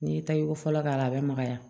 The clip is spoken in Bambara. N'i ye taggo fɔlɔ k'a la a bɛ makaya